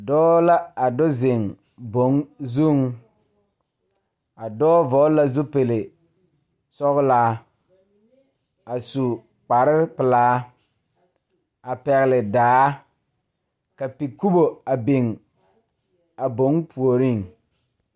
Dɔɔ la a do zeŋ boŋ zuŋ a dɔɔ vɔgle la zupilisɔglaa a su kparepelaa a pɛgle daa ka pikubo a biŋ a boŋ puoriŋ.